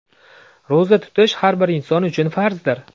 Ro‘za tutish har bir inson uchun farzdir.